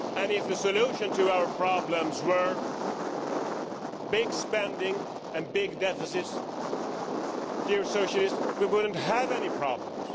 If the solution to our problems were big spending and big deficits, dear Socialists, we wouldn't have any problems.